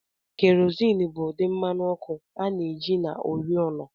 Kerosene bụ ụdị mmanụ ọkụ a na-eji na oriọna